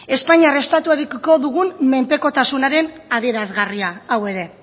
espainiar estatuarekiko dugun menpekotasunaren adierazgarria hau ere